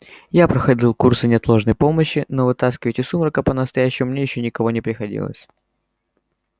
я проходил курсы неотложной помощи но вытаскивать из сумрака по-настоящему мне ещё никого не приходилось